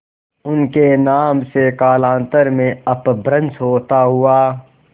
उनके नाम से कालांतर में अपभ्रंश होता हुआ